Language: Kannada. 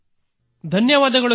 ಧನ್ಯವಾದಗಳು ಸರ್